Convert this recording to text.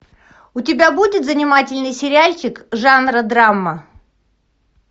у тебя будет занимательный сериальчик жанра драма